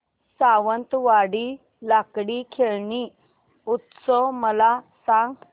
सावंतवाडी लाकडी खेळणी उत्सव मला सांग